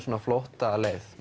flóttaleið